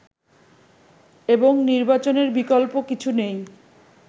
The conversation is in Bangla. এবং নির্বাচনের বিকল্প কিছু নেই